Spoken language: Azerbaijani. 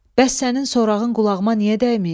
Bəs sənin sorağın qulağıma niyə dəyməyib?